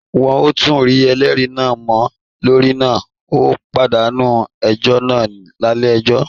Wọn ò tún rí ẹlẹ́rìí náà mọ́ torí náà ó pàdánù ẹjọ́ náà nílé ẹjọ́